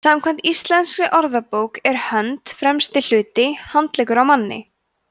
samkvæmt íslenskri orðabók er hönd „fremsti hluti handleggjar á manni